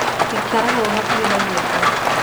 Ikara hau hakuhĩ na nyũmba